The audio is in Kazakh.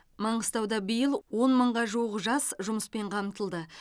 маңғыстауда биыл он мыңға жуық жас жұмыспен қамтылды